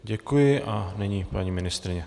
Děkuji a nyní paní ministryně.